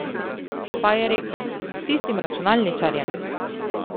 Pa je rekel: 'S tistim računalničarjem?